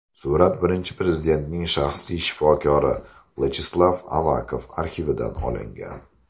Surat Birinchi Prezidentning shaxsiy shifokori Vyacheslav Avakov arxividan olingan.